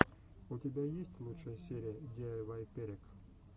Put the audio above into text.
у тебя есть лучшая серия диайвай перек